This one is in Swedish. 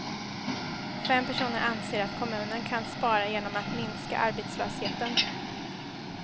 Fem personer anser att kommunen kan spara genom att minska arbetslösheten.